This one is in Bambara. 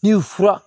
Ni fura